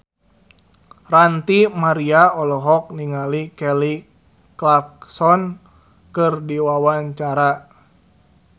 Ranty Maria olohok ningali Kelly Clarkson keur diwawancara